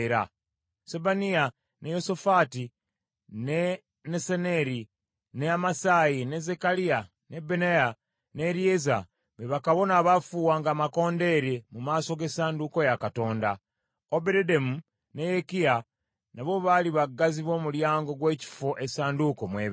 Sebaniya, ne Yosafaati, ne Nesaneri, ne Amasayi, ne Zekkaliya, ne Benaya, ne Eryeza be bakabona abaafuuwanga amakondeere mu maaso g’essanduuko ya Katonda. Obededomu ne Yekiya n’abo baali baggazi b’omulyango gw’ekifo essanduuko mw’ebeera.